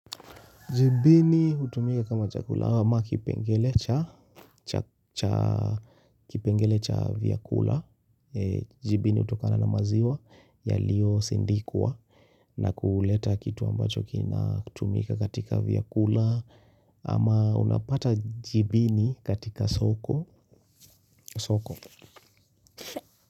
Jibini hutumika kama chakula ama kipengele cha kipengele cha vyakula. Jibini hutokana na maziwa yaliyo sindikuwa na kuleta kitu ambacho kina kutumika katika vyakula. Ama unapata jibini katika soko soko.